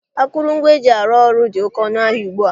Akụrụngwa eji arụ ọrụ dị oké ọnụ ahịa ugbu a.